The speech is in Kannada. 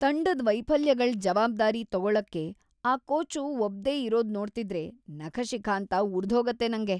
ತಂಡದ್ ವೈಫಲ್ಯಗಳ್ ಜವಾಬ್ದಾರಿ ತಗೊಳಕ್ಕೆ ಆ ಕೋಚು ಒಪ್ದೇ ಇರೋದ್ನೋಡ್ತಿದ್ರೆ ನಖಶಿಖಾಂತ ಉರ್ದ್ಹೋಗತ್ತೆ ನಂಗೆ.